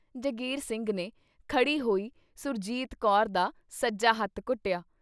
ਜੰਗੀਰ ਸਿੰਘ ਨੇ ਖੜ੍ਹੀ ਹੋਈ ਸੁਰਜੀਤ ਕੌਰ ਦਾ ਸੱਜਾ ਹੱਥ ਘੁੱਟਿਆ।